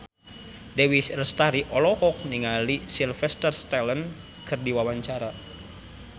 Dewi Lestari olohok ningali Sylvester Stallone keur diwawancara